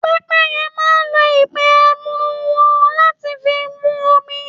Pẹpẹyẹ máa lò ìpe ẹnu wọn láti fi mú omi.